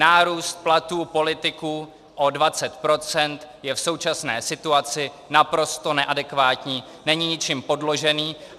Nárůst platů politiků o 20 % je v současné situaci naprosto neadekvátní, není ničím podložený.